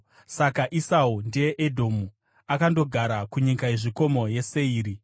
Saka Esau (ndiye Edhomu) akandogara kunyika yezvikomo yeSeiri.